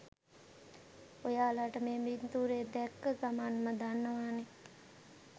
ඔයාලට මේ පින්තුරේ දැක්ක ගමන්ම දන්නවානේ